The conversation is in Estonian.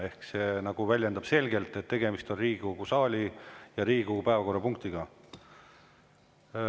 Ehk see nagu väljendab selgelt, et tegemist on Riigikogu saali ja Riigikogu päevakorra punktiga.